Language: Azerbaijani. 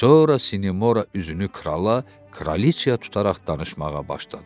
Sonra Sinemora üzünü krala, kraliçaya tutaraq danışmağa başladı.